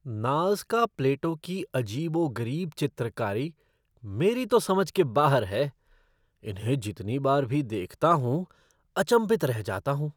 Nazca plateau की अजीबो गरीब चित्रकारी मेरी तो समझ के बाहर है। इन्हें जितनी बार भी देखता हूँ, अचंभित रह जाता हूँ।